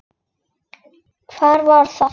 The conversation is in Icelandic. Hvað var það?